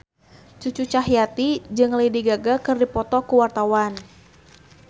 Cucu Cahyati jeung Lady Gaga keur dipoto ku wartawan